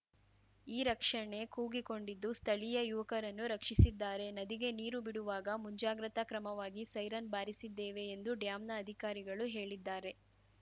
ಈ ರಕ್ಷಣೆ ಕೂಗಿಕೊಂಡಿದ್ದು ಸ್ಥಳೀಯ ಯುವಕರನ್ನು ರಕ್ಷಿಸಿದ್ದಾರೆ ನದಿಗೆ ನೀರು ಬಿಡುವಾಗ ಮುಂಜಾಗ್ರತಾ ಕ್ರಮವಾಗಿ ಸೈರನ್‌ ಬಾರಿಸಿದ್ದೇವೆ ಎಂದು ಡ್ಯಾಂನ ಅಧಿಕಾರಿಗಳು ಹೇಳಿದ್ದಾರೆ